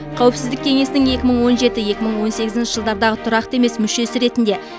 қауіпсіздік кеңесінің екі мың он жеті екі мың он сегізінші жылдардағы тұрақты емес мүшесі ретінде